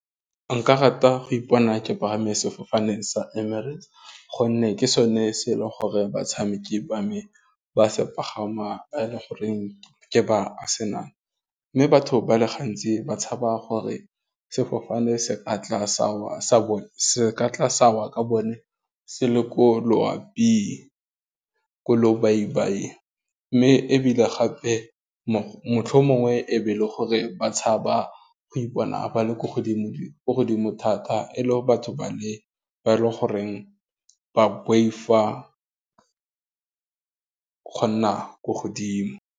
Nka rata go ipona ke palame sefofane sa Emirates gonne ke sone se e leng gore batshameki ba mme ba se pagama ba e le goreng ke ba senama, mme batho ba le gantsi ba tshaba gore sefofane se ka tla sa wa ka bone, se le ko loaping, ko lobaibaing, mme ebile gape motlhomongwe be le gore ba tshaba go ipona ba le ko godimo thata e le batho ba le ba e le goreng ba boifa go nna ko godimo.